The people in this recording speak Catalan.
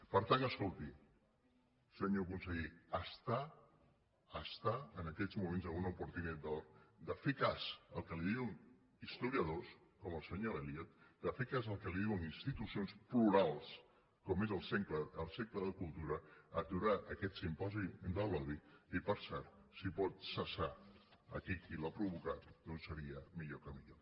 per tant escolti senyor conseller està en aquests moments amb una oportunitat d’or de fer cas del que li diuen historiadors com el senyor elliott de fer cas del que li duen institucions plurals com és el cercle de cultura aturar aquest simposi de l’odi i per cert si pot cessar aquell qui l’ha provocat doncs seria millor que millor